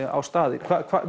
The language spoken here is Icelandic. á staðinn